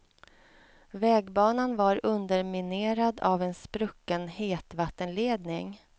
Vägbanan var underminerad av en sprucken hetvattenledning.